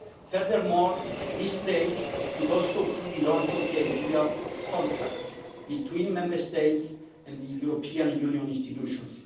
Furthermore, this stage should also see the launch of the idea of contracts' between Member States and the European Union institutions.